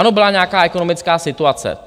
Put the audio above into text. Ano, byla nějaká ekonomická situace.